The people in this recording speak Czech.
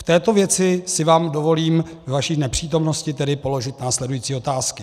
V této věci si vám dovolím ve vaší nepřítomnosti tedy položit následující otázky: